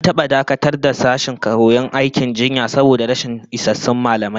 An taba dakatar da sashen koyon aikin jinya saboda rashin isassun mallamai